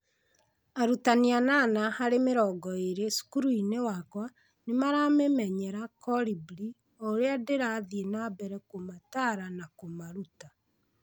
Arutani 8 harĩ 20 cukuru-inĩ wakwa nĩ maramĩmenyera(Kolibri) o ũrĩa ndĩrathiĩ na mbere kũmataara na kũmaruta.